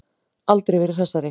Aldrei verið hressari.